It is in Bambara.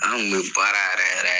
An kun be baara yɛrɛ yɛrɛ